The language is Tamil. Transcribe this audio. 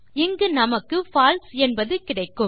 இங்கு நமக்கு பால்சே என்பது கிடைக்கும்